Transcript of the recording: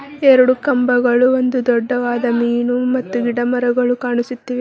ಎರಡು ಕಂಬಗಳು ಒಂದು ದೊಡ್ಡವಾದ ಮೀನು ಮತ್ತು ಗಿಡಮರಗಳು ಕಾಣಿಸುತ್ತಿವೆ.